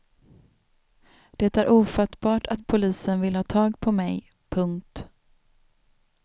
Det är ofattbart att polisen vill ha tag på mig. punkt